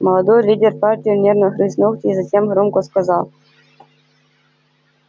молодой лидер партии нервно грыз ногти и затем громко сказал